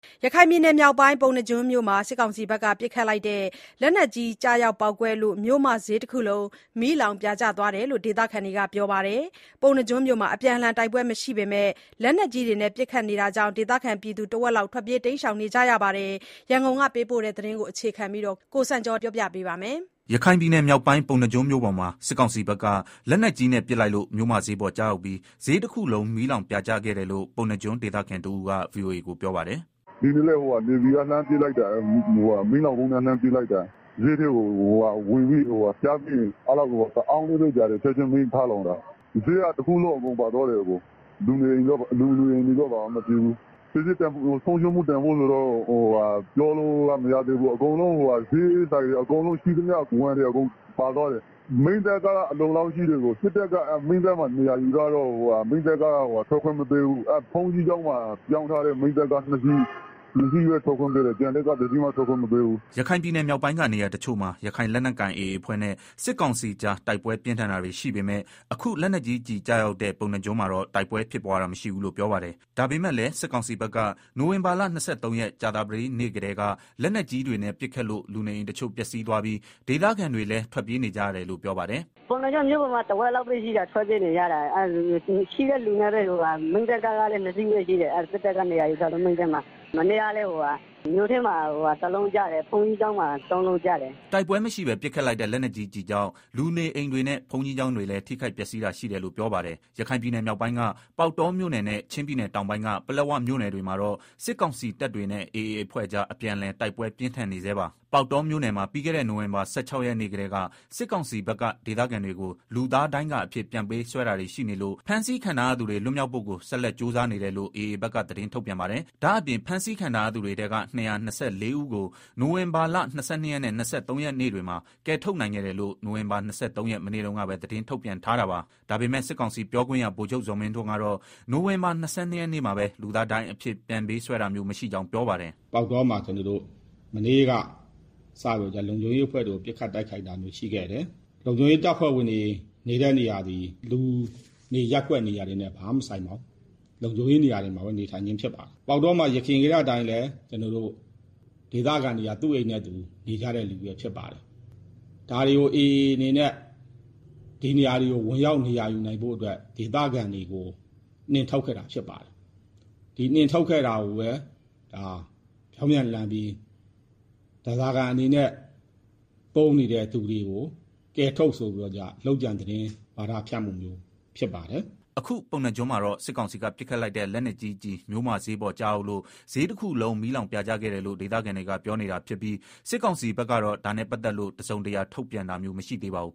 ရခိုင်ပြည်နယ်မြောက်ပိုင်း၊ ပုဏ္ဏားကျွန်းမြို့မှာ စစ်ကောင်စီဘက်က ပစ်ခတ်လိုက်တဲ့ လက်နက်ကြီး ကျရောက် ပေါက်ကွဲလို့ မြို့မဈေးတခုလုံး မီးလောင်ပြာကျသွားတယ်လို့ ဒေသခံတွေက ပြောပါတယ်။ ပုဏ္ဏားကျွန်းမြို့မှာ အပြန်အလှန် တိုက်ပွဲမရှိပေမဲ့ လက်နက်ကြီးနဲ့ ပစ်ခတ်တာတွေရှိနေတဲ့ အတွက် ဒေသခံတဝက်လောက်ဟာလည်း ထွက်ပြေးနေကြတယ်လို့ ပြောပါတယ်။ ဒီအကြောင်း ရန်ကုန်ကပေးပို့တဲ့သတင်းကို အခြေခံပြီး ကိုစံကျော် က ပြောပြမှာပါ။ ရခိုင်ပြည်နယ်မြောက်ပိုင်း၊ ပုဏ္ဏားကျွန်းမြို့ပေါ်မှာ စစ်ကောင်စီဘက်က လက်နက်ကြီးနဲ့ ပစ်လိုက်လို့ မြို့မဈေးပေါ် ကျရောက်ပြီး ဈေးတခုလုံး မီးလောင်ပြာကျ ခဲ့တယ်လို့ ပုဏ္ဏားကျွန်း ဒေသခံတဦးက VOA ကို ပြောပါတယ်။ "ဒီနေ့လည်း မီးလောင်းဗုံးနဲ့ လှမ်းပစ်လိုက်တာ ဈေးထဲကိုကျပြီး တအောင့်လေးပဲ ကြာတယ်၊ ချက်ချင်း မီးထလောင်တာ။ ဈေးက တခုလုံး အကုန်ပါသွားတယ်။ လူနေအိမ်တွေတော့ ဘာမှမဖြစ်ဘူး။ ပစ္စည်းဆုံးရှုံးမှု တန်ဖိုးကတော့ ပြောလို့မရသေးဘူး။ ဈေးဆိုင်တွေ၊ ရှိသမျှ ဝန်တွေအကုန်လုံး ပါသွားတယ်။ မီးသတ်ကားက အလုံအလောက်ရှိတယ်။ စစ်တပ်က မီးသတ်မှာ နေရာယူထားတော့ မီးသတ်ကား ထွက်ခွင့်မပေးဘူး။ ဘုန်းကြီးကျောင်းမှာ ရောင်းထားတဲ့ မီးသတ်ကား ၂ စီးပဲ ထွက်ခွင့်ပေးတယ်။ ကျန်တဲ့ကား တစီးမှ ထွက်ခွင့်မပေးဘူး။" ရခိုင်ပြည်နယ်မြောက်ပိုင်းက နေရာတချို့မှာ ရခိုင်လက်နက်ကိုင် AA အဖွဲ့နဲ့ စစ်ကောင်စီကြား တိုက်ပွဲပြင်းထန်တာတွေ ရှိပေမယ့် အခု လက်နက်ကြီးကျရောက်တဲ့ ပုဏ္ဏားကျွန်းမှာတော့ တိုက်ပွဲဖြစ်ပွားတာ မရှိဘူးလို့ ပြောပါတယ်။ ဒါပေမယ့်လည်း စစ်ကောင်စီဘက်က နိုဝင်ဘာလ ၂၃ ရက်၊ ကြာသပတေးနေ့ကတည်းက လက်နက်ကြီးတွေနဲ့ ပစ်ခတ်လို့ လူနေအိမ်တချို့ ပျက်စီးသွားပြီး၊ ဒေသခံတွေကလည်း ထွက်ပြေးနေကြရတယ်လို့ ပြောပါတယ်။ "ပုဏ္ဏားကျွန်း မြို့ပေါ်မှာက လူဦးရေ တဝက်လောက်ပဲရှိတယ်။ အကုန်ထွက်ပြေး နေကြတာ။ မီးသတ်ကားကလည်း ၂ စီးပဲရှိတယ်။ ရှိတဲ့လူနဲ့ မီးငြှိမ်းလိုက်တာ။ လက်နက်ကြီးတွေနဲ့ ပစ်နေတာ မနေ့ကလည်း မြို့ထဲကို တလုံးကျတယ်။ ဘုန်းကြီးကျောင်းမှာ ၃ လုံးကျတယ်။" တိုက်ပွဲမရှိဘဲ ပစ်ခတ်လိုက်တဲ့ လက်နက်ကြီးကျည်ကြောင့် လူနေအိမ်တွေနဲ့ ဘုန်းကြီးကျောင်း တွေလည်း ထိခိုက်ပျက်စီးတာ ရှိတယ်လို့ ပြောပါတယ်။ ရခိုင်ပြည်နယ် မြောက်ပိုင်းက ပေါက်တောမြို့နယ်နဲ့ ချင်းပြည်နယ် တောင်ပိုင်းက ပလက်ဝမြို့နယ် တွေမှာ တော့ စစ်ကောင်စီတပ်တွေနဲ့ AA အဖွဲ့ကြား အပြန်အလှန် တိုက်ပွဲပြင်းထန်နေ ဆဲပါ။ ပေါက်တောမြို့နယ်မှာ ပြီးခဲ့တဲ့ နိုဝင်ဘာ ၁၆ ရက်နေ့ ကတည်းက စစ်ကောင်စီဘက်က ဒေသခံတွေကို လူသားဒိုင်းကာအဖြစ် ပြန်ပေးဆွဲတာတွေ ရှိနေလို့၊ ဖမ်းဆီးခံထားရသူတွေ လွတ်မြောက်ဖို့ကို ဆက်လက် ကြိုးပမ်းနေတယ်လို့ AA ဘက်က သတင်းထုတ်ပြန်ပါတယ်။ ဒါ့အပြင် အဖမ်းဆီးခံထား ရသူတွေထဲက ၂၂၄ ဦးကို နိုဝင်ဘာလ ၂၂ ရက်နဲ့ ၂၃ ရက်နေ့တွေမှာ ကယ်ထုတ်နိုင်ခဲ့တယ်လို့ နိုဝင်ဘာ ၂၃ ရက် မနေ့တုန်းကပဲ သတင်းထုတ်ပြန်ထားတာပါ။ ဒါပေမယ့် စစ်ကောင်စီပြောခွင့်ရ ဗိုလ်ချုပ် ဇော်မင်းထွန်းကတော့ နိုဝင်ဘာ ၂၂ ရက်နေ့မှာပဲ လူသားဒိုင်းအဖြစ် ပြန်ပေးဆွဲတာမျိုး မရှိကြောင်း ပြောပါတယ်။ "ပေါက်တောမှာ မနေ့က စပြီးတော့ လုံခြုံရေးအဖွဲ့တွေကို ပစ်ခတ်တိုက်ခိုက်တာမျိုး ရှိခဲ့တယ်။ လုံခြုံရေးတပ်ဖွဲ့ဝင်တွေ နေတဲ့နေရာသည် လူနေရပ်ကွက် နေရာတွေနဲ့ ဘာမှမဆိုင်ပါဘူး။ လုံခြုံရေး နေရာမှာသာ နေထိုင်ခြင်း ဖြစ်ပါတယ်။ ပေါက်တောမှာ ယခင်ကတည်းက အတိုင်းပဲ ဒေသခံတွေက သူ့အိမ်နဲ့သူ နေကြခြင်း ဖြစ်ပါတယ်။ ဒါတွေကို AA အနေနဲ့ ဒီနေရာတွေကို ဝင်ရောက်နေရာ ယူနိုင်ဖို့အတွက် ဒေသခံတွေကို နှင်ထုတ်ခဲ့တာ ဖြစ်ပါတယ်။ ဒီနှင်ထုတ်ခဲ့တာကို ပြောင်းပြန်လှန်ပြီး ဓားစာခံအနေနဲ့ သုံးနေတဲ့သူတွေကို ကယ်ထုတ်ဆိုပြီးတော့ လုပ်ကြံသတင်း ထုတ်ပြန်ပြီးတော့ ဝါဒဖြန့်မှုမျိုး ဖြစ်ပါတယ်။" အခု ပုဏ္ဏားကျွန်းမှာတော့ စစ်ကောင်စီက ပစ်ခတ်လိုက်တဲ့ လက်နက်ကြီး မြို့မဈေးပေါ် ကျရောက်လို့ ဈေးတခုလုံး မီးလောင်ပြာကျခဲ့တယ်လို့ ဒေသခံတွေက ပြောနေတာ ဖြစ်ပြီး စစ်ကောင်စီဘက်ကတော့ ဒါနဲ့ ပတ်သက်လို့ တစုံတရာ ထုတ်ပြန်တာမျိုး မရှိသေးပါဘူး